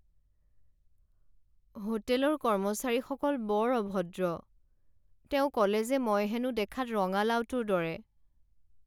হোটেলৰ কৰ্মচাৰীসকল বৰ অভদ্ৰ। তেওঁ ক'লে যে মই হেনো দেখাত ৰঙালাওটোৰ দৰে।